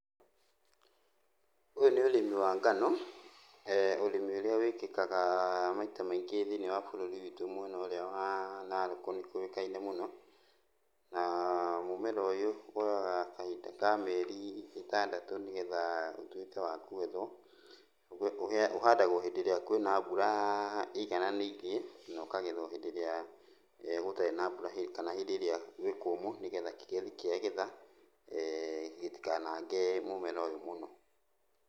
Ũyũ nĩ ũrĩmi wa ngano, ũrĩmi ũrĩa wĩkĩkaga maita maingĩ thĩiniĩ wa bũrũri witũ mwena ũrĩa wa Naroko nĩkuo nĩkũĩkaine mũno, naa mũmera ũyũ woyaga kahinda ka mĩeri ĩtandatũ nĩgetha ũtuĩke wa kũgethwo. Ũhandagwo hĩndĩ ĩrĩa kwĩna mbura ĩigananĩirie na ũkagethwo hĩndĩ ĩrĩa gũtarĩ na mbura kana hĩndĩ ĩrĩa gwĩ kũmũ nĩgetha kĩgethi kĩagetha, gĩtikanange mũmera ũyũ mũno.